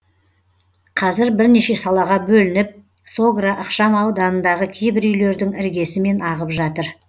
қазір бірнеше салаға бөлініп согра ықшам ауданындағы кейбір үйлердің іргесімен ағып жатыр